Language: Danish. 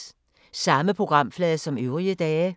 Samme programflade som øvrige dage